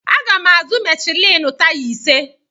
Agam azụ Michelin taya ise.